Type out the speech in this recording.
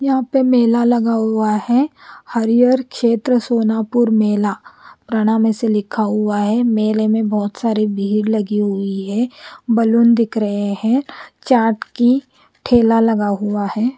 यहा पे मेला लगा हुआ है हरियर खेत्र सोनापुर मेला प्रणाम असा लिखा हुआ है मेले में बहुत सारी भीड़ लगी हुई है बलून दिख रहे है चार्ट की ठेला लगा हुआ है।